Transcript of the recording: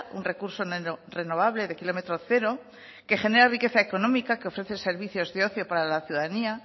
un recurso renovable de kilómetro cero que genera riqueza económica que ofrece servicios de ocio para la ciudadanía